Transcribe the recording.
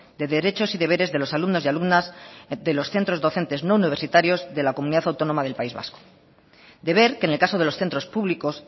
de derechos y deberes de los alumnos y alumnas de los centros docentes no universitarios de la comunidad autónoma del país vasco deber que en el caso de los centros públicos